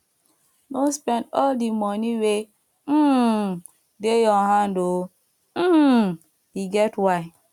no spend all di moni wey um dey your hand o um e get why